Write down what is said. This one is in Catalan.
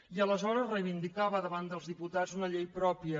i aleshores reivindicava davant dels diputats una llei pròpia